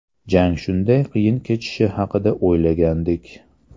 Jang shunday qiyin kechishi haqida o‘ylagandik.